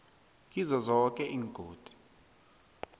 kizo zoke iingodi